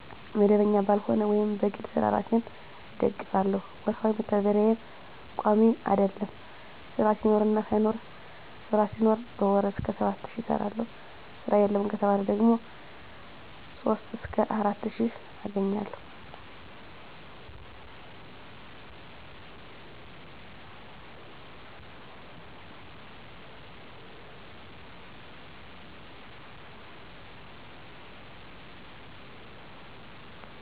መደበኛ ባልሆነ ወይም በግል ስራ እራሴን እደግፍለሁ። ወርሀዊ መተዳደርያየም ቋሚ አደለም ስራ ሲኖርና ሳይኖር ስራ ሲኖር በወር እስከ 7 ሺ እሰራለሁ ስራ የለም ከተባለ ደግሞ 3 እስከ 4 ሺ አገኛለሁ።